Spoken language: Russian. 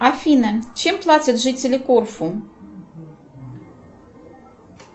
афина чем платят жители корфу